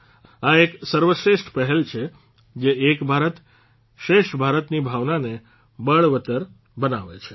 આ એક સર્વશ્રેષ્ઠ પહેલ છે જે એક ભારત શ્રેષ્ઠ ભારત ની ભાવનાને બળવત્તર બનાવે છે